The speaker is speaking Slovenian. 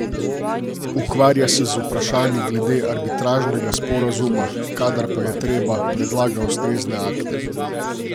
Ukvarja se z vprašanji glede arbitražnega sporazuma, kadar pa je treba, predlaga ustrezne akte.